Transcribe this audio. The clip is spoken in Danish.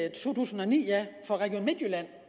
i to tusind og ni for region midtjylland